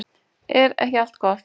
Er ekki allt gott?